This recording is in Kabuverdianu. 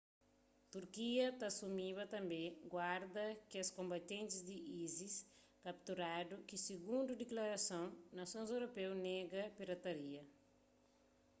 turquia ta asumiba tanbê guarda kes konbatentis di isis kapturadu ki sigundu diklarason nasons europeu nega ripatria